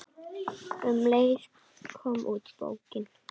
Um leið kom út bókin